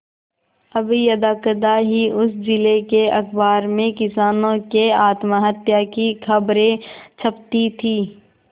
अब यदाकदा ही उस जिले के अखबार में किसानों के आत्महत्या की खबरें छपती थी